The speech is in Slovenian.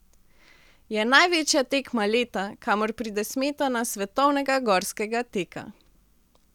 Je največja tekma leta, kamor pride smetana svetovnega gorskega teka.